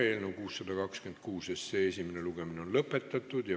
Eelnõu 626 esimene lugemine on lõppenud.